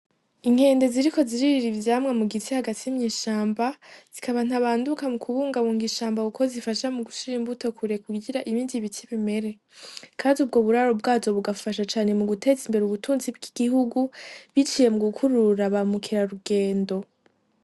Inkende ziriko ziririra ivyamwa mugiti hagati mw'ishamba, zikaba ntabanduka mukubungabunga ishamba kuko zifasha mugushira imbuto kure kugira ibindi biti bimere . Kandi ubwo buraro bwazo bugafasha cane muguteza imbere ubutunzi bw'igihugu biciye mugukurura ba mukeharugendo.